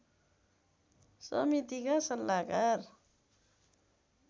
समितिका सल्लाहकार